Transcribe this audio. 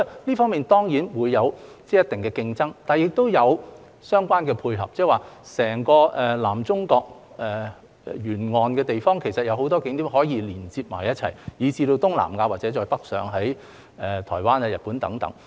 郵輪旅遊當然會有一定的競爭，但亦有相關的配合，即是在整個南中國沿岸的地方，其實有很多景點可以連接一起，以至東南亞或再北上的台灣、日本等。